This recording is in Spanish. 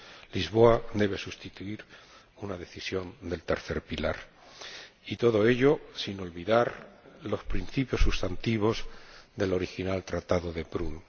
Lisboa debe sustituir una decisión del tercer pilar, y todo ello sin olvidar los principios sustantivos del original Tratado de Prüm.